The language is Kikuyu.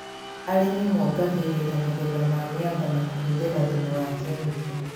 Arĩmi mongagĩrĩra magetha ma mĩanga na kũhũthĩra thumu wa kemiko